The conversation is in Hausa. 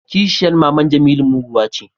kisheyan maman jemilu muguwa ce